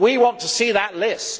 We want to see that list.